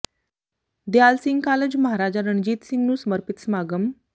ਦਿਆਲ Singh college Maharaja Ranjit Singh ਨੂੰ ਸਮਰਪਿਤ ਸਮਾਗਮ